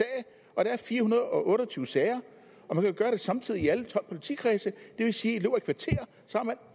og der er fire hundrede og otte og tyve sager og man kan gøre det samtidig i alle tolv politikredse det vil sige